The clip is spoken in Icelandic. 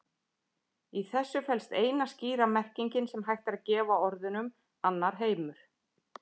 Í þessu felst eina skýra merkingin sem hægt er að gefa orðunum annar heimur.